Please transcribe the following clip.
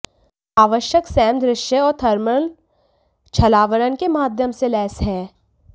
आवश्यक सैम दृश्य और थर्मल छलावरण के माध्यम से लैस हैं